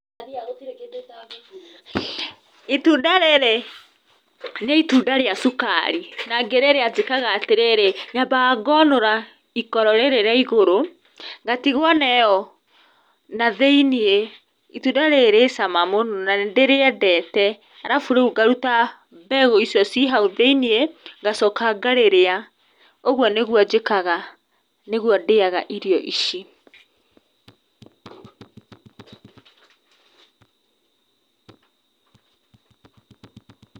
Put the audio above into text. Itunda rĩrĩ nĩ itunda rĩa cukari na ngĩrĩrĩa njĩkaga atĩrĩrĩ, nyambaga ngonũra ikoro rĩrĩ rĩa igũrũ ngatigwo na ĩyo, na thĩiniĩ. Itunda rĩrĩ rĩ cama mũno na nĩ ndĩrĩendete, arabu rĩu ngaruta mbegũ icio ciĩ hau thĩiniĩ, ngacoka ngarĩrĩa. Ũguo nĩguo njĩkaga , nĩguo ndĩaga irio ici.